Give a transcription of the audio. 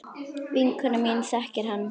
Vinkona mín þekkir hann.